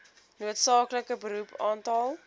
noodsaaklike beroep aantal